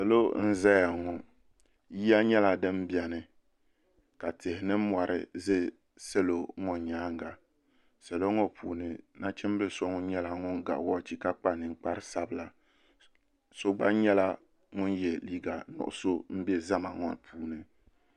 salo n-zaya ŋɔ yiya nyɛla din beni ka tihi ni mɔri ʒe salo ŋɔ nyaaga salo ŋɔ puuni nachimbili so ŋɔ nyɛla ŋun ga wɔchi ka kpa ninkpar' sabila so gba nyɛla ŋun ye liiga nuɣisɔ m-be zama ŋɔ puuni.